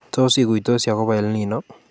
Tos iguitosi akobo EL Nino